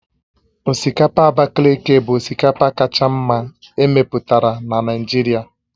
Osikapa Abakaliki bụ osikapa kacha mma emepụtara na Naịjirịa